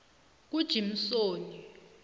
kujimsoni